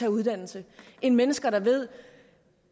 en uddannelse end mennesker der ved